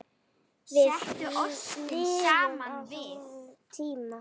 Við lifum á þannig tímum.